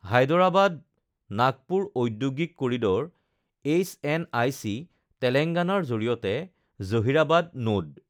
হায়দৰাবাদ নাগপুৰ ঔদ্যোগিক corridor HNIC, তেলেংগনাৰ জৰিয়তে জহিৰাবাদ নোড